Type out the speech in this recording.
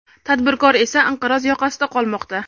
tadbirkor esa inqiroz yoqasida qolmoqda.